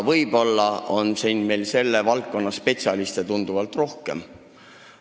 Võib-olla on meil siin selle valdkonna spetsialiste arvatust tunduvalt rohkem.